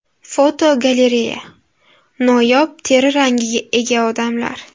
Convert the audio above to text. Fotogalereya: Noyob teri rangiga ega odamlar.